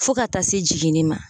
Fo ka taa se jiginni ma